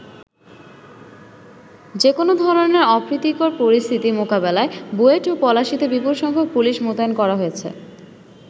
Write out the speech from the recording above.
যেকোনো ধরনের অপ্রীতিকর পরিস্থিতি মোকাবেলায় বুয়েট ও পলাশীতে বিপুল সংখ্যক পুলিশ মোতায়েন করা হয়েছে।